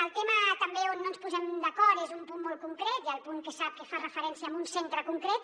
el tema també on no ens posem d’acord és un punt molt concret el punt que sap que fa referència a un centre concret